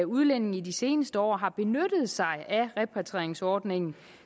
udlændinge i de seneste år har benyttet sig af repatrieringsordningen